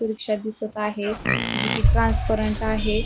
रिक्षा दिसत आहे जी की ट्रान्सपरंट आहे.